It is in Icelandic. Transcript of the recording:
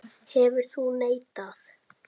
Hefðir þú neitað?